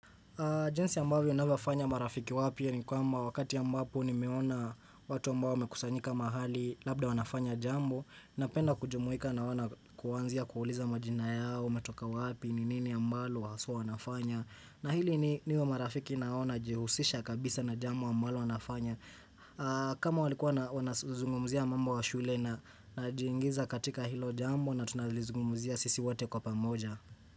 Jinsi ambavyo navowafanya marafiki wapya ni kwamba wakati ambapo ni meona watu ambao wamekusanyika mahali labda wanafanya jambo na penda kujumuika na wao na kuanzia kuuliza majina yao, metoka wapi, ninini ambalo, haswa wanafanya na hili niwe marafiki naona jihusisha kabisa na jambo ambalo wanafanya kama walikuwa wana zungumzia mambo ya shule na najiingiza katika hilo jambo na tunalizungumzia sisi wote kwa pamoja.